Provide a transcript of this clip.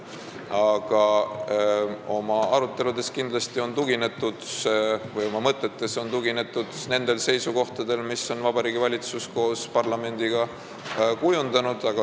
Aga nendes aruteludes või mõtetes on kindlasti tuginetud nendele seisukohtadele, mille on Vabariigi Valitsus koos parlamendiga kujundanud.